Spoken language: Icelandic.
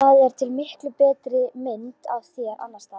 Það er til miklu betri mynd af þér annars staðar.